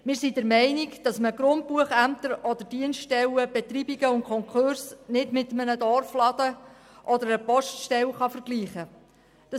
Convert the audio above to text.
Wir sind der Meinung, dass man Betreibungs- und Konkursämter oder auch Grundbuchämter nicht mit einem Dorfladen oder einer Poststelle vergleichen kann.